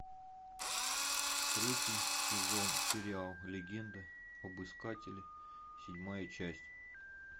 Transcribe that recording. третий сезон сериал легенда об искателе седьмая часть